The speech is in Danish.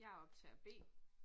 Jeg optager B